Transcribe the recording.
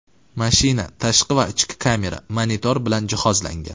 Mashina tashqi va ichki kamera, monitor bilan jihozlangan.